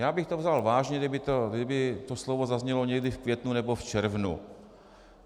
Já bych to vzal vážně, kdyby toto slovo zaznělo někdy v květnu nebo v červnu.